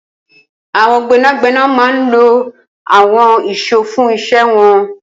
Awọn gbẹnágbẹná má n ló awọn ìṣó fùn iṣẹ̀ wọn